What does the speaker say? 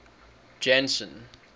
janson